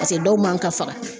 Paseke dɔw man ka faga